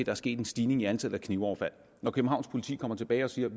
er sket en stigning i antallet af knivoverfald når københavns politi kommer tilbage og siger